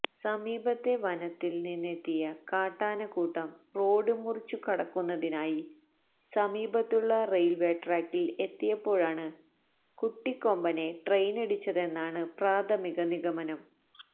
സമീപത്തെ വനത്തില് നിന്നെത്തിയ കാട്ടാനക്കൂട്ടം റോഡ് മുറിച്ചുകടക്കുന്നതിനായി സമീപത്തുള്ള റെയില്വേ ട്രാക്കില് എത്തിയപ്പോഴാണ് കുട്ടിക്കൊമ്പനെ ട്രെയിനിടിച്ചതെന്നാണ് പ്രാഥമിക നിഗമനം